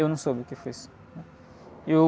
Eu não soube o que foi isso, né?